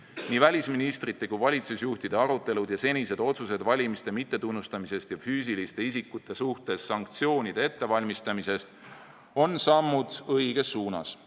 Nii välisministrite kui ka valitsusjuhtide arutelud ja senised otsused valimiste mittetunnustamise ja füüsiliste isikute suhtes sanktsioonide ettevalmistamise kohta on sammud õiges suunas.